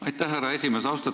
Aitäh, härra esimees!